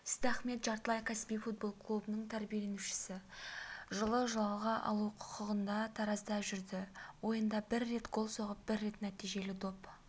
сейдахмет жартылай кәсіби футбол клубының тәрбиеленушісі жылы жалға алу құқығындатаразда жүрді ойында бір рет гол соғып бір рет нәтижелі доп